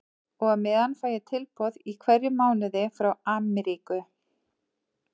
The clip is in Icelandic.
Og á meðan fæ ég tilboð í hverjum mánuði frá Amríku.